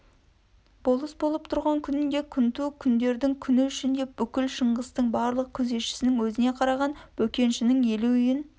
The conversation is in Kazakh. болыс болып тұрған күнінде күнту күндердің күні үшін деп бүкіл шыңғыстың барлық күзетшінің өзіне қараған бөкеншінің елу үйін